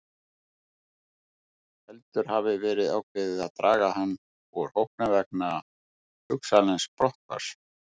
Heldur hafi verið ákveðið að draga hann úr hópnum vegna hugsanlegs brotthvarfs.